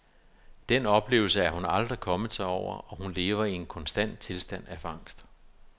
Den oplevelse er hun aldrig kommet sig over, og hun lever i en konstant tilstand af angst.